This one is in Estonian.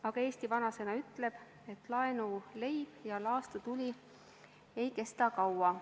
Aga eesti vanasõna ütleb, et laenuleib ja laastutuli ei kesta kaua.